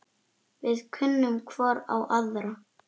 Við kunnum hvor á aðra.